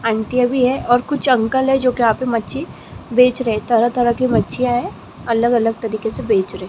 आंटियां भी है और कुछ अंकल है जो के यहां पे मच्छी बेच रहे तरह-तरह की मच्छियां है अलग-अलग तरीके से बेच रहे --